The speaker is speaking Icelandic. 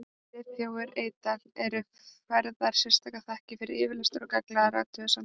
Friðþóri Eydal eru færðar sérstakar þakkir fyrir yfirlestur og gagnlegar athugasemdir.